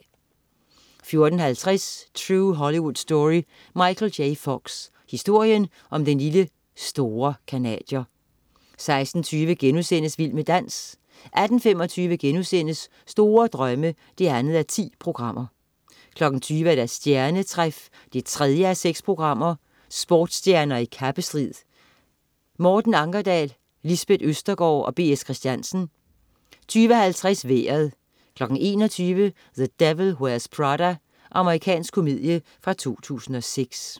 14.50 True Hollywood Story: Michael J. Fox. Historien om den lille "store" canadier 16.20 Vild med dans* 18.25 Store Drømme 2:10* 20.00 Stjernetræf 3:6. Sportsstjerner i kappestrid. Morten Ankerdal, Lisbeth Østergaard og B. S. Christiansen 20.50 Vejret 21.00 The Devil Wears Prada. Amerikansk komedie fra 2006